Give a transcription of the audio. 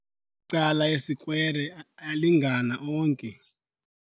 Cala esikwere alyalingana onke.